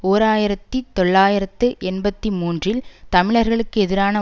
ஓர் ஆயிரத்தி தொள்ளாயிரத்து எண்பத்தி மூன்றில் தமிழர்களுக்கு எதிரான